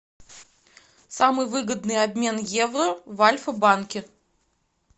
самый выгодный обмен евро в альфа банке